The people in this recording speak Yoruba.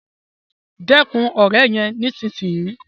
Dẹkun òré yén nísìsiyìí!